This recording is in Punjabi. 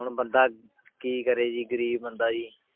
ਹੁਣ ਬੰਦਾ ਕੀ ਕਰੇ ਜੀ ਗ਼ਰੀਬ ਬੰਦਾ ਜੀ